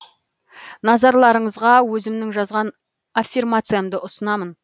назарларыңызға өзімнің жазған аффирмациямды ұсынамын